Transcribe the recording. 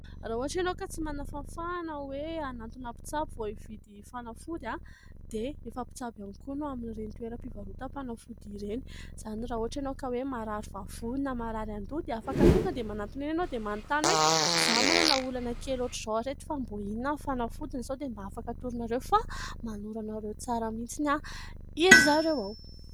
Raha ohatra ianao ka tsy manana fahafahana hoe hanatona mpitsabo vao hividy fanafody a. Dia efa mpitsabo ihany koa no amin'ireny toeram-pivarotam-panafody ireny. Izany raha ohatra ianao ka hoe marary vavony na marary an-doha dia afaka tonga dia manatona eny ianao dia manontany hoe : "izaho manana olana kely hoatran'izao ry reto fa mbo inona ny fanafodiny sao dia mba afaka atoronareo?" fa manoro anareo tsara mihintsiny a, iry zareo ao! .